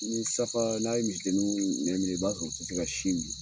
Ni safa, n'a ye misi denninw nɛ minɛ, i b'a sɔrɔ o tɛ se ka sin min.